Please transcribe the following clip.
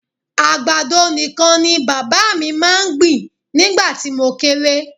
Àgbàdo nìkan ni bàbá mi máa ń gbìn nígbà tí mo kéré